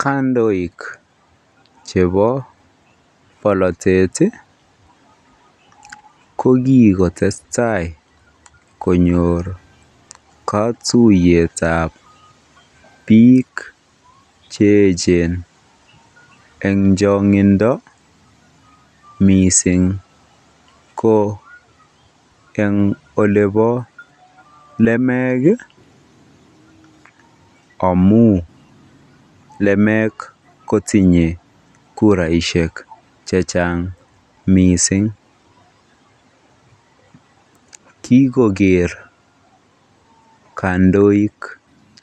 Kandoik chebo bolotet ko kikotesta konyor kotuyetab biik che echen eng chongindo mising ko eng olebo lumeek amun lumeek kotinye kuraishek chechang mising, kikoker kandoik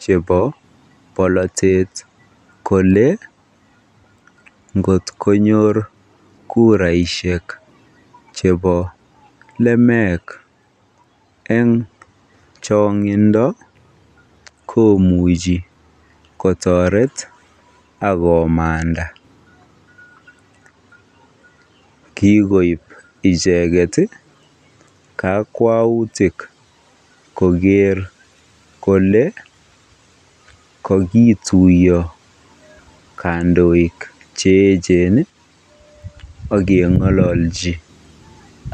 chebo bolotet kolee ngot konyor kuraishek chebo lumeek en chongindo komuchi kotoret ak komanda, kikoib icheket kakwautik koker kolee kokituyo kandoik che echen ak keng'ololchi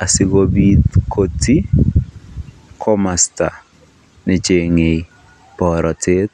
asikobit kotii komosta nechenge borotet.